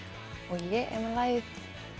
ég er með lagið